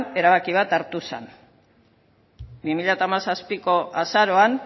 erabaki bat hartu zen bi mila hamazazpiko azaroan